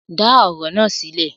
Dá ọ̀rọ̀ na sílẹ̀!